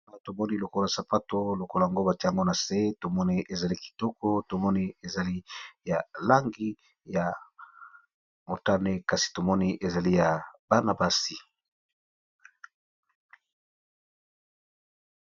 Awa tomoni lokola sapato lokola ango bati ango na se tomoni ezali kitoko tomoni ezali ya langi ya motane kasi tomoni ezali ya banabasi.